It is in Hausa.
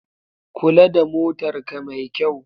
Kula da motarka mai kyau.